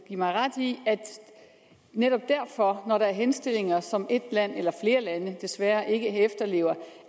mig ret i at det netop derfor når der er henstillinger som et land eller flere lande desværre ikke efterlever